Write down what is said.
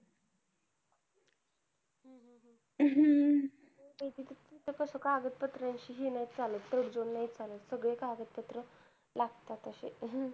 हम्म कागद पात्र शी हे नाही चालत तडजोड नाही चालत सगळे कागद पत्र लागतात अशे हम्म